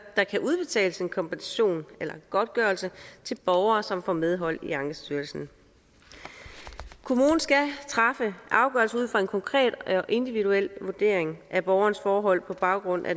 der kan udbetales en kompensation eller en godtgørelse til borgere som får medhold i ankestyrelsen kommunen skal træffe afgørelse ud fra en konkret og individuel vurdering af borgerens forhold på baggrund af